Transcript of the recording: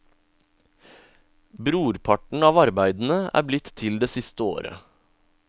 Brorparten av arbeidene er blitt til det siste året.